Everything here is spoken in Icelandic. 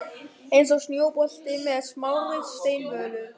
Eins og snjóbolti með smárri steinvölu.